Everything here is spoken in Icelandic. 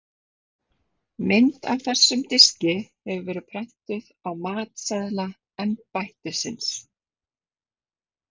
Mynd af þessum diski hefur verið prentuð á matseðla embættisins.